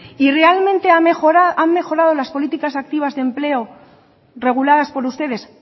y realmente han mejorado las políticas activas de empleo reguladas por ustedes